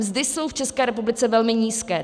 Mzdy jsou v České republice velmi nízké.